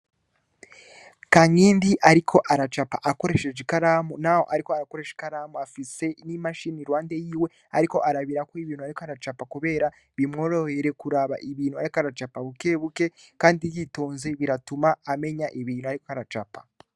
Kankindi ariko aracapa akoresheje ikaramu naho ariko arakoresha ikaramu afise n'imashine, iruhande yiwe ariko arabirako ibintu ariko aracapa kubera bimworohere kuraba ibintu ariko aracapa bukebuke kandi yitonze biratuma amenya ibintu ariko aracapa.